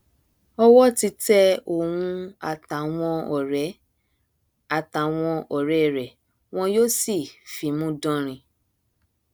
ọwọ ti tẹ òun àtàwọn ọrẹ àtàwọn ọrẹ rẹ wọn yóò sì fimú dánrin